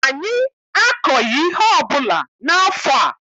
Anyị akọghị ihe ọbụla n'afọ a.